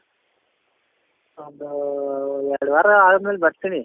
ಅ ಒಂದು ಎರಡು ವಾರ ಆದ್ಮೇಲೆ ಬರ್ತೀನಿ